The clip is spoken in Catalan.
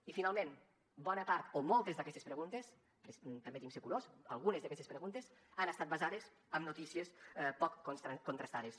i finalment bona part o moltes d’aquestes preguntes permeti’m ser curós algunes d’aquestes preguntes han estat basades en notícies poc contrastades